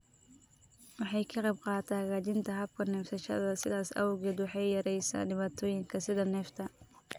Waxay ka qaybqaadataa hagaajinta habka neefsashada, sidaas awgeed waxay yareysaa dhibaatooyinka sida neefta.